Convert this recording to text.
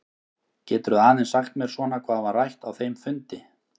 Geturðu aðeins sagt mér svona hvað var rætt á þeim fundi?